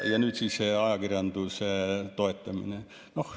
Ja nüüd siis ajakirjanduse toetamine.